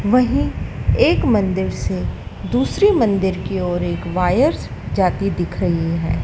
वहीं एक मंदिर से दूसरी मंदिर की ओर एक वायर्स जाती दिख रही है।